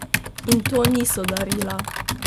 In to niso darila!